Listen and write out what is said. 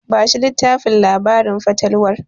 Bashi littafin labarin fatalwar.